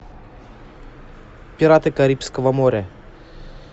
пираты карибского моря